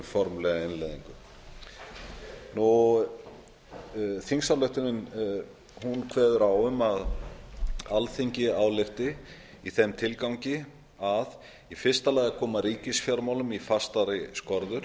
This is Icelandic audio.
en um formlega innleiðingu þingsályktunin kvðeur á um að alþingi álykti í þeim tilgangi að a koma ríkisfjármálum í fastari skorður